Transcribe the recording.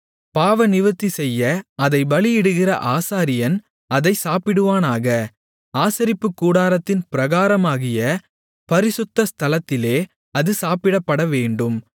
பாவநிவிர்த்திசெய்ய அதைப் பலியிடுகிற ஆசாரியன் அதைச் சாப்பிடுவானாக ஆசரிப்புக்கூடாரத்தின் பிராகாரமாகிய பரிசுத்த ஸ்தலத்திலே அது சாப்பிடப்படவேண்டும்